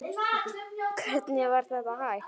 Hvernig var þetta hægt?